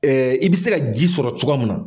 I bɛ se ka ji sɔrɔ cogo mun na